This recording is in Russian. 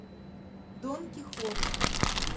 дон кихот